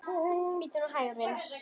Bíddu nú hægur, vinur.